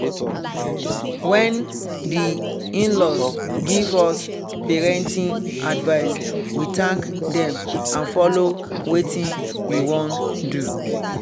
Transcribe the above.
wen the in-laws give us parenting advice we thank them and follow wetin we wan do